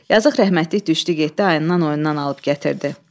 Yazıq rəhmətlik düşdü getdi ayından oyunundan alıb gətirdi.